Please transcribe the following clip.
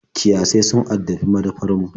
Kiyasai sun addabi madafar mu.